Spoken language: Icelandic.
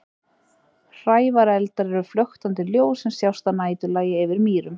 hrævareldar eru flöktandi ljós sem sjást að næturlagi yfir mýrum